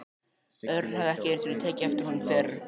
Örn hafði ekki einu sinni tekið eftir honum fyrr.